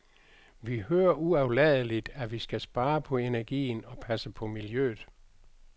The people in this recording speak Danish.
Vi hører uafladeligt, at vi skal spare på energien og passe på miljøet.